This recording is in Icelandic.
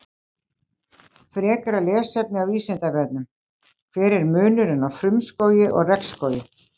Frekara lesefni á Vísindavefnum: Hver er munurinn á frumskógi og regnskógi?